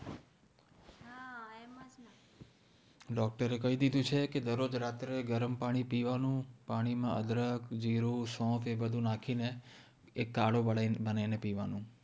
doctor એ કહી દીધું છે દર રોજ રાત્રે ગરમ પાણી પીવાનું પાણી માં અદ્રક જીરું સૌંપ એ બધું નાખી ને કાડો બનાવી ને પીવાનું